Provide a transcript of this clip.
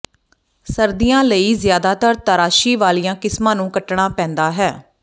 ਸਰਦੀਆਂ ਲਈ ਜ਼ਿਆਦਾਤਰ ਤਰਾਸ਼ੀ ਵਾਲੀਆਂ ਕਿਸਮਾਂ ਨੂੰ ਕੱਟਣਾ ਪੈਂਦਾ ਹੈ